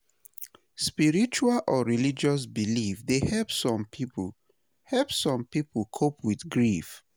Spiritual or religious beliefs dey help some people help some people cope with grief.